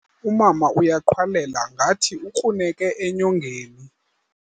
Umama uyaqhwalela ngathi ukruneke enyongeni.